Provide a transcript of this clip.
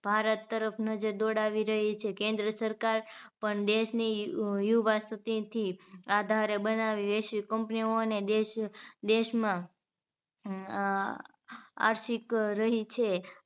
ભારત તરફ નજર દોડાવી રહી છે કેન્દ્ર સરકાર પણ દેશની યુ યુવા સ્થિતીથી આધારે બનાવેલી વૈશ્વિક company ઓને દેશ દેશમાં આર્થિક રહી છે